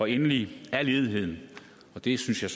endelig er ledigheden og det synes jeg